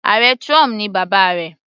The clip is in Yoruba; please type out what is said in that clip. Ààrẹ trump ni bàbá rẹ̀.